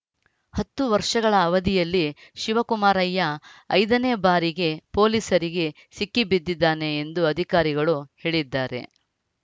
ಹತ್ತು ವರ್ಷಗಳ ಅವಧಿಯಲ್ಲಿ ಶಿವಕುಮಾರಯ್ಯ ಐದ ನೇ ಬಾರಿಗೆ ಪೊಲೀಸರಿಗೆ ಸಿಕ್ಕಿಬಿದ್ದಿದ್ದಾನೆ ಎಂದು ಅಧಿಕಾರಿಗಳು ಹೇಳಿದ್ದಾರೆ